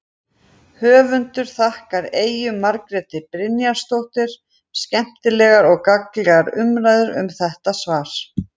Höfundur þakkar Eyju Margréti Brynjarsdóttur skemmtilegar og gagnlegar umræður um þetta svar.